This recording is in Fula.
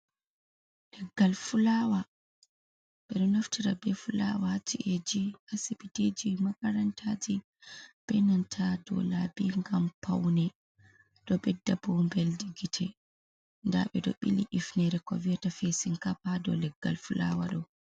Leggal fulawa: Ɓeɗo naftira be fulawa ha ci'eji, hasibitiji, makarantaji, be nanta dou labi ngam paune. Ɗo ɓedda bu'mbeldi gite. Nda ɓedo ɓili ifnere ko viyata fasin cap ha dou leggal fulawa ɗo.